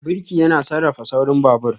Birki yana sarrafa saurin babur